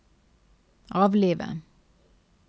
avlive